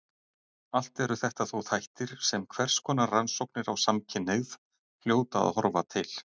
Allt eru þetta þó þættir sem hverskonar rannsóknir á samkynhneigð hljóta að horfa til.